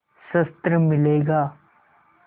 शस्त्र मिलेगा